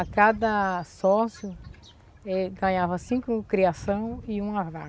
A cada sócio, ele ganhava cinco criação e um.